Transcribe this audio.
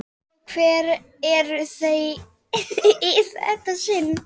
Og hver eru þau í þetta sinn?